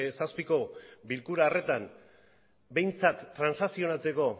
zazpiko bilkura horretan behintzat transantzionatzeko